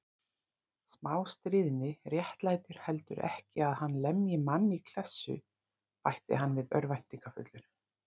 Smástríðni réttlætir heldur ekki að hann lemji mann í klessu bætti hann við örvæntingarfullur.